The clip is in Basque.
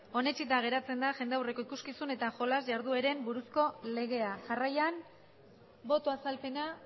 onetsita geratzen da jendaurreko ikuskizun eta jolas jardueren buruzko legea jarraian boto azalpena